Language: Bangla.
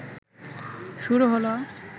শুরু হলো